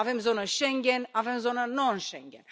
Avem zonă Schengen, avem zonă non Schengen.